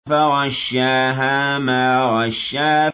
فَغَشَّاهَا مَا غَشَّىٰ